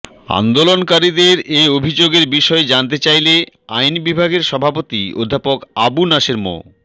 আন্দোলনকারীদের এ অভিযোগের বিষয়ে জানতে চাইলে আইন বিভাগের সভাপতি অধ্যাপক আবু নাসের মো